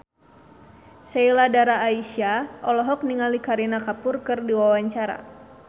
Sheila Dara Aisha olohok ningali Kareena Kapoor keur diwawancara